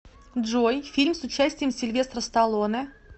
джой фильм с участием сильвестра сталлоне